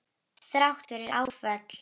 Þrátt fyrir áföll.